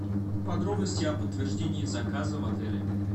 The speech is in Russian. подробности о подтверждении заказа в отеле